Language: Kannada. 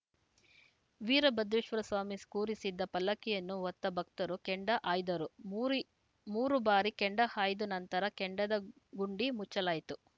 ವೀರಭದ್ರೇಶ್ವರ ಸ್ವಾಮಿ ಕೂರಿಸಿದ್ದ ಪಲ್ಲಕ್ಕಿಯನ್ನು ಹೊತ್ತ ಭಕ್ತರು ಕೆಂಡ ಹಾಯ್ದರು ಮೂರಿ ಮೂರು ಬಾರಿ ಕೆಂಡ ಹಾಯ್ದ ನಂತರ ಕೆಂಡದ ಗುಂಡಿ ಮುಚ್ಚಲಾಯಿತು